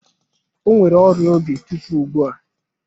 O nwere ọrịa obi tupu ugbu a.